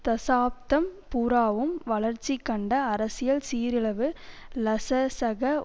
தசாப்தம் பூராவும் வளர்ச்சி கண்ட அரசியல் சீரிலவு லசசக